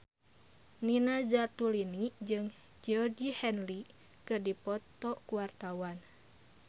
Nina Zatulini jeung Georgie Henley keur dipoto ku wartawan